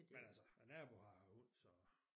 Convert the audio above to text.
Men altså min nabo har hund så